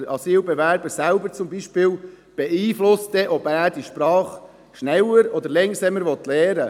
Wer denn sonst als zum Beispiel der Asylbewerber beeinflusst denn selbst, ob er die Sprache schneller oder langsamer lernen will?